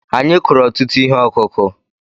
Anyị kụrụ ọtụtụ ihe ọkụkụ̀.